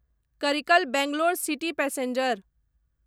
Karikal Bangalore city passenger